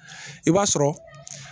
I b'a sɔrɔ